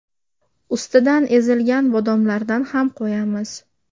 Ustidan ezilgan bodomlardan ham qo‘yamiz.